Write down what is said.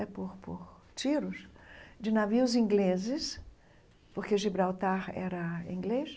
É, por por tiros de navios ingleses, porque Gibraltar era inglês.